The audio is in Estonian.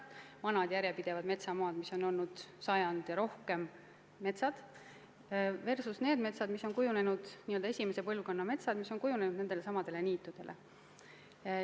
Vanad järjepidevad metsad, mis on olnud metsad sajandi ja kauemgi, versus n-ö esimese põlvkonna metsad, mis on tekkinud nendelsamadel niitudel.